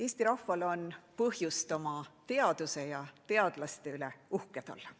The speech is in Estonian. Eesti rahval on põhjust oma teaduse ja teadlaste üle uhke olla.